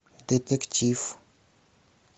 детектив